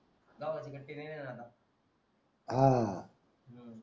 गावाच्या कडचे कधी येणार आता हम्म